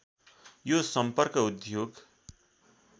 यो सम्पर्क उद्योग